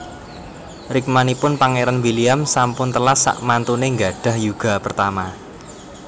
Rikmanipun Pangeran William sampun telas sakmantune nggadhah yuga pertama